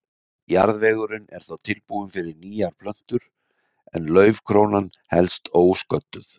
Jarðvegurinn er þá tilbúinn fyrir nýjar plöntur en laufkrónan helst ósködduð.